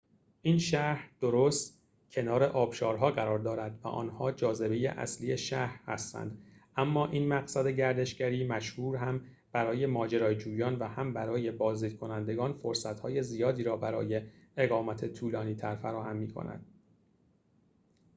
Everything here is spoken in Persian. این شهر درست کنار آبشارها قرار دارد و آنها جاذبه اصلی شهر هستند اما این مقصد گردشگری مشهور هم برای ماجراجویان و هم برای بازدیدکنندگان فرصت‌های زیادی را برای اقامت طولانی‌تر فراهم می‌کند